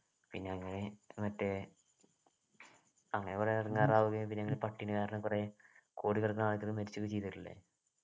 പിന്നെ അങ്ങനെ മറ്റേ അങ്ങനെ കുറെ ഇടങ്ങേറാവുകയും പിന്നെ പട്ടിണി കാരണം കുറെ കോടിക്കണക്കിനു ആളുകൾ മരിച്ചുപോവുകയും ചെയ്തിട്ടില്ലേ